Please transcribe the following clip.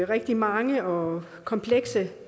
rigtig mange og komplekse